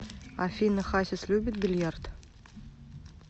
афина хасис любит бильярд